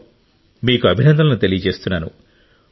wow మీకు అభినందనలు తెలియజేస్తున్నాను